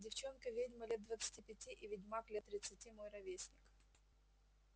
девчонка-ведьма лет двадцати пяти и ведьмак лет тридцати мой ровесник